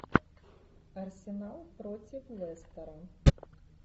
арсенал против лестера